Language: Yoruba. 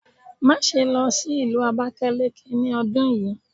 Maṣe lọ si Ìlú Abakaliki ni ọdun yii!